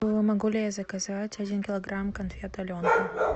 могу ли я заказать один килограмм конфет аленка